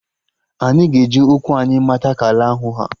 Anyị ga-eji ụkwụ anyị mata ka ala ahụ ha